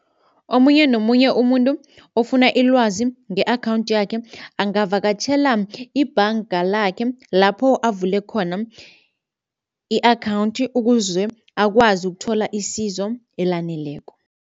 Omunye nomunye umuntu ofuna ilwazi nge-akhawundi yakhe angavakatjhela ibhanga lakhe lapho avule khona i-akhawundi ukuze akwazi ukuthola isizo elaneleko.